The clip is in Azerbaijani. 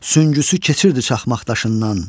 Süngüsü keçirdi çaxmaq daşından.